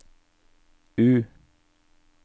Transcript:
U